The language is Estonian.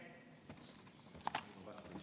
Aitäh!